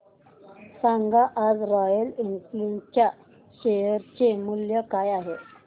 सांगा आज Royal Enfield च्या शेअर चे मूल्य काय आहे